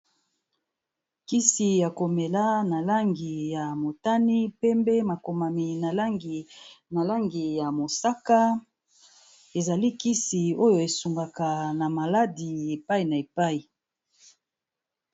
Kisi ya ko mela na langi ya motane, pembe, makomami na langi ya mosaka, ezali kisi oyo e sungaka na maladi epayi na epayi.